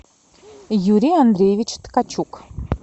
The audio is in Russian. юрий андреевич ткачук